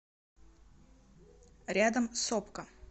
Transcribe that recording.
рядом сопка